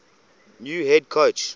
new head coach